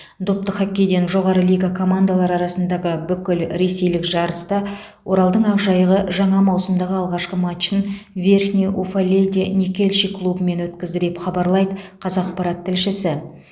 допты хоккейден жоғары лига командалары арасындағы бүкілресейлік жарыста оралдың ақжайығы жаңа маусымдағы алғашқы матчын верхний уфалейде никельщик клубымен өткізді деп хабарлайды қазақпарат тілшісі